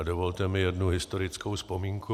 A dovolte mi jednu historickou vzpomínku.